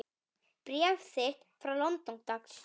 Bréf þitt frá London, dags.